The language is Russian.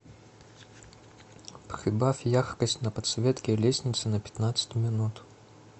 прибавь яркость на подсветке лестницы на пятнадцать минут